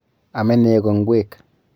Ame neko ngwek.